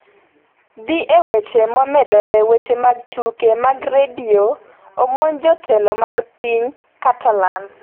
Dhi e weche momedore weche mag tuke mag redio omonj jotelo mag piny Catalan